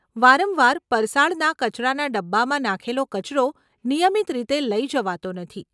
વારંવાર, પરસાળના કચરાના ડબ્બામાં નાંખેલો કચરો નિયમિત રીતે લઇ જવાતો નથી.